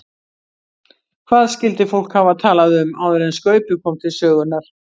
Hvað skyldi fólk hafa talað um áður en Skaupið kom til sögunnar?